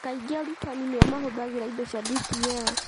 Kaingĩ arutani nĩo mahũthagĩra indo cia DPL.